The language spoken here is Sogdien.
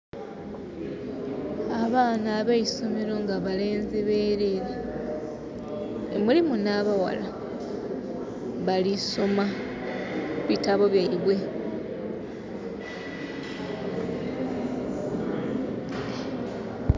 Abaana abeisomero nga balenzi berere, nga mulimu nha baghala, bali soma bitabo byaibwe.